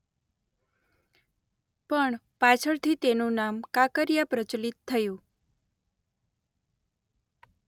પણ પાછળથી તેનું નામ કાંકરીયા પ્રચલિત થયું.